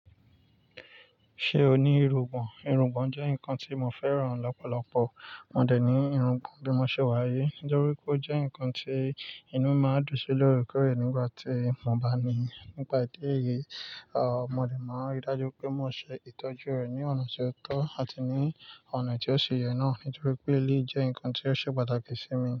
Ṣé o ní irungbọ̀n? Irungbọ̀n jẹ́ ǹkan tí mo fẹ́ràn lọ́pọ̀lọpọ̀. Mò dẹ̀ ní irungbọ̀n bí mo ṣe wáyé nítorí pé ó jẹ́ ǹkan tí inú máa ń dùn sí lórí kẹ́rẹ́ nígbà tí mo bá ní i. Ní pa idí eyìí, à, mo de máa rí i dájú pé mo ṣe ìtọ́jú rẹ̀ ní ọ̀nà tó tọ́ àti ní ọ̀nà tí ó ṣe yẹ náà nítorí pé elé jẹ́ ǹkan tí ó ṣe pàtàkì sí mi.